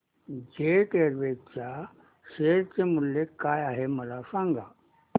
jet Airways च्या share चे मूल्य काय आहे मला सांगा